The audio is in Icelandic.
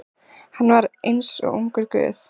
Hann var eins og ungur guð.